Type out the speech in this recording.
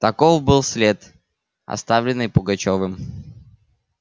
таков был след оставленный пугачёвым